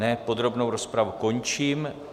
Ne, podrobnou rozpravu končím.